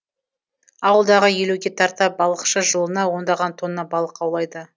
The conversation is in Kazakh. ауылдағы елуге тарта балықшы жылына ондаған тонна балық аулайды